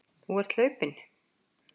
Þú ert hlaupinn.